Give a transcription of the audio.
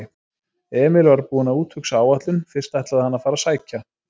Emil var búinn að úthugsa áætlun: Fyrst ætlaði hann að fara og sækja